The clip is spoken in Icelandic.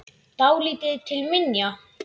Dálítið til minja.